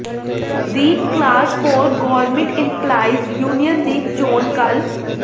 ਦਿ class four government employees union ਦੀ ਚੋਣ ਕੱਲ੍ਹ